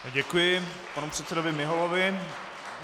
Děkuji panu předsedovi Miholovi.